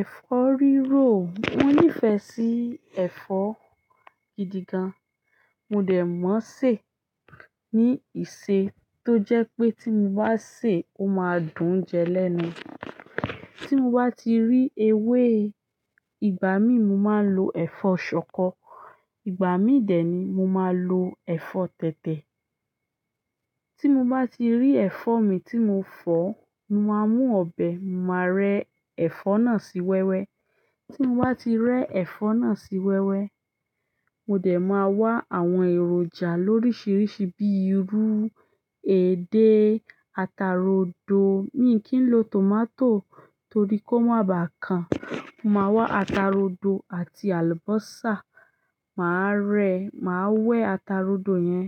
Ẹ̀fọ́ rírò, mo nífẹ̀ẹ́ sí ẹ̀fọ́ gidi gan. Mo dẹ̀ mọ̀ṣe ní ìṣe tó jẹ́ pé tí mo bá sè é, ó máa dùn jẹ lẹ́nu. Tí mo bá ti rí ewé, ìgbà mi mo máa lo ẹ̀fọ́ ṣọkọ, ìgbà mi dẹ̀ ni mo máa lo ẹ̀fọ́ tẹ̀tẹ̀. Tí mo bá ti rí ẹ̀fọ́ mi tí mo fọ̀, mo máa mú ọbẹ̀, màá rẹ́ ẹ̀fọ́ náà sí wẹ́wẹ́. Tí mo bá ti rẹ́ ẹ̀fọ́ náà sí wẹ́wẹ́, mo dẹ̀ máa wá àwọn èròjà lóríṣiríṣi bíi irú, edé, ata rodo. Mi kì í lo tomato torí kó má bàa kan. Mo máa wá ata rodo àti àlùbọ́sà, màá rẹ́, màá wẹ́ ata rodo yẹn,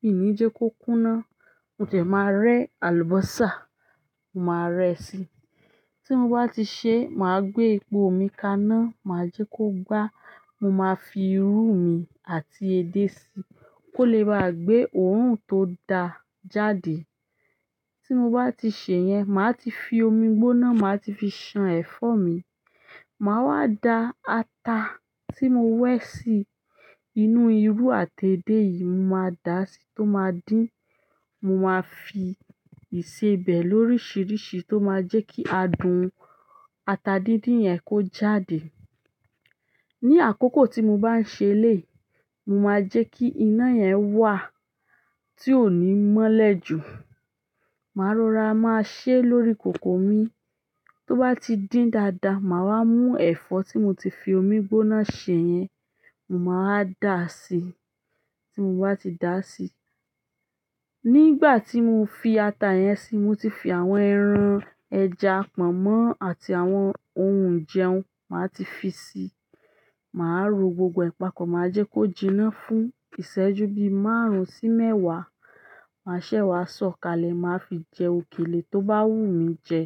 mi ò ní jẹ́ kó kúná, mo dẹ̀ máa rẹ́ àlùbọ́sà, màá rẹ́ si. Tí mo bá ti ṣe, màá gbé epo mi kaná, màá jẹ́ kó gbá, mo máa fi irú mi àti edé síi kó lè bá gbé òórùn tó da jáde. Tí mo bá ti ṣe yẹn, màá ti fi omi gbóná, màá ti fi ṣan ẹ̀fọ́ mi. Màá wá da ata tí mo wẹ́ sí inú irú àti edé yìí, mo máa da sí tó máa dín. Mo máa fi ìṣe bẹ̀ lóríṣiríṣi tó máa jẹ́ kí adùn ata díndín yẹn kó jáde. Ni àkókò tí mo bá ń ṣe lé, mo máa jẹ́ kí iná yẹn wà tí ò ní mọ́lẹ̀ jù. Màá rọra, màá ṣẹ́ lórí kòkò mi. Tó bá ti dín dáadáa, màá wá mú ẹ̀fọ́ tí mo ti fi omi gbóná ṣe yẹn, mo máa dà á sí. Tí mo bá ti dà á sí, nígbà tí mo fi ata yẹn síi, mo ti fi àwọn ẹran, ẹja, pọ̀nmọ́ àti àwọn ohun ń jẹun, màá ti fi si. Maa ro gbogbo e papọ̀ ma je ko jina fún iseju márùn si mewa. Màá ṣẹ́ wá sọ̀ kalẹ̀, màá fi jẹ òkèlè tó bá wù mí jẹ.